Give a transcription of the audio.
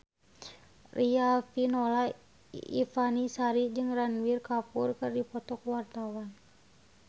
Riafinola Ifani Sari jeung Ranbir Kapoor keur dipoto ku wartawan